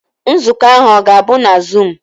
Nzukọ ahụ ọ ga-abụ na zuum?